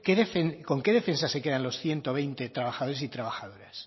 con qué defensa se quedan los ciento veinte trabajadores y trabajadoras